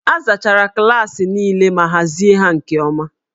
A zachara klaasị niile ma hazie ha nke ọma